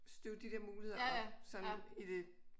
Støve de dér muligheder op sådan i det